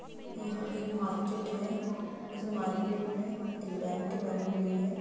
यह एक मार्केट है उस मार्केट में एक बैंक बनी हुई है।